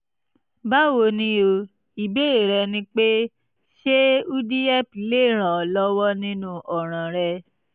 báwo ni o? ìbéèrè rẹ ni pé ṣé udihep lè ràn ọ́ lọ́wọ́ nínú ọ̀ràn rẹ?